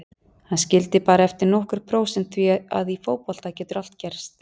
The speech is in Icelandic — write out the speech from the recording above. Hann skildi bara eftir nokkur prósent því að í fótbolta getur allt gerst.